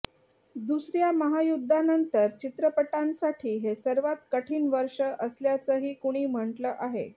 दुसऱ्या महायुद्धानंतर चित्रपटांसाठी हे सर्वात कठीण वर्ष असल्याचंही कुणी म्हटलं आहे